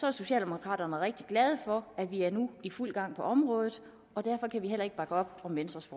er socialdemokraterne rigtig glade for at vi nu i fuld gang på området og derfor kan vi heller ikke bakke op om venstres